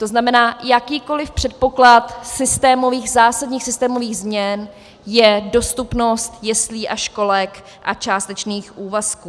To znamená, jakýkoliv předpoklad systémových, zásadních systémových změn je dostupnost jeslí a školek a částečných úvazků.